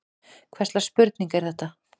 Hvers slags spurning er þetta!